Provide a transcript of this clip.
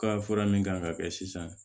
Ka fura min kan ka kɛ sisan